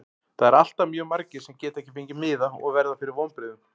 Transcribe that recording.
Það eru alltaf mjög margir sem geta ekki fengið miða og verða fyrir vonbrigðum.